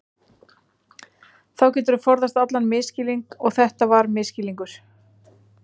Þá geturðu forðast allan misskilning og þetta var misskilningur.